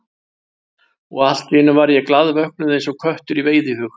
Og allt í einu var ég glaðvöknuð, eins og köttur í veiðihug.